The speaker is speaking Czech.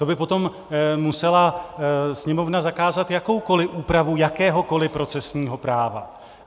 To by potom musela Sněmovna zakázat jakoukoliv úpravu jakéhokoliv procesního práva.